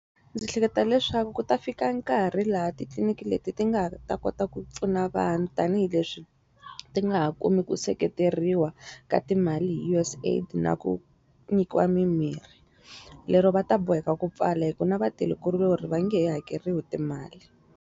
Ndzi hleketa leswaku ku ta fika nkarhi laha titliniki leti ti nga ha ta kota ku pfuna vanhu tanihileswi, ti nga ha kumi ku seketeriwa ka timali hi U_S AID na ku nyikiwa mimirhi. Lero va ta boheka ku pfala hikuva na vatirhikuloni va nge he hakeriwi timali.